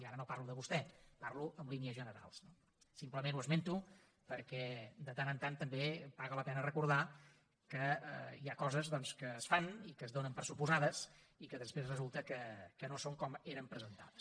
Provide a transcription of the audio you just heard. i ara no parlo de vostè parlo en línies generals no simplement ho esmento perquè de tant en tant també paga la pena recordar que hi ha coses doncs que es fan i que es donen per fet i que després resulta que no són com eren presentades